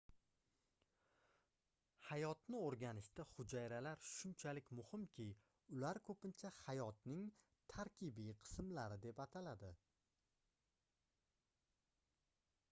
hayotni oʻrganishda hujayralar shunchalik muhimki ular koʻpincha hayotning tarkibiy qismlari deb ataladi